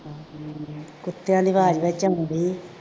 ਕੁੱਤਿਆਂ ਦੀ ਆਵਾਜ਼ ਵਿੱਚ ਆਉਣ ਡੇਈ